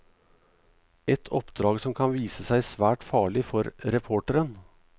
Et oppdrag som kan vise seg svært farlig for reporteren.